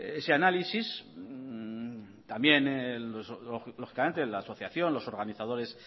ese análisis también lógicamente la asociación los organizadores